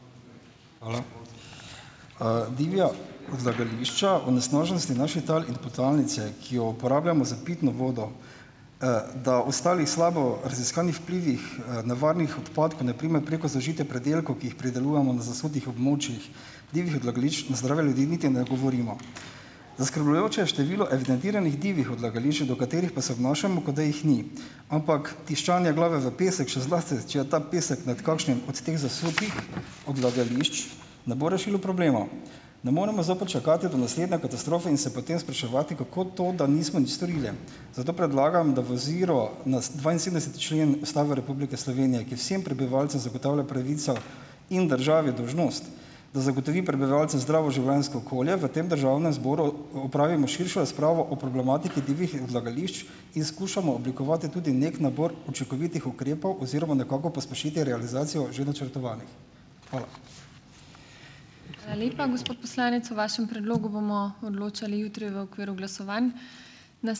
Hvala. divja odlagališča , onesnaženost naših tal in podtalnice, ki jo uporabljamo za pitno vodo, da ostalih slabo raziskanih vplivih, nevarnih odpadkov, na primer preko zaužitja pridelkov, ki jih pridelujemo na zasutih območjih, divjih odlagališč na zdrave ljudi niti ne govorimo . Zaskrbljujoče je število evidentiranih divjih odlagališč, do katerih pa se obnašamo, kot da jih ni. Ampak tiščanje glave v pesek, še zlasti če je ta pesek med kakšnim od teh zasutih odlagališč, ne bo rešilo problema. Ne moremo zopet čakati do naslednje katastrofe in se potem spraševati, kako to, da nismo nič storili. Zato predlagam, da v oziro na dvainsedemdeseti člen Ustave Republike Slovenije, ki vsem prebivalcem zagotavlja pravico in državi dolžnost, da zagotovi prebivalcem zdravo življenjsko okolje, v tem državnem zboru opravimo širšo razpravo o problematiki divjih odlagališčih in skušamo oblikovati tudi neki nabor učinkovitih ukrepov oziroma nekako pospešiti realizacijo že načrtovanih. Hvala .